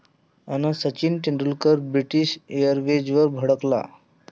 ...अन् सचिन तेंडुलकर 'ब्रिटीश एअरवेज'वर भडकला!